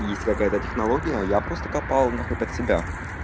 есть какая-то технология я просто капал нахуй под себя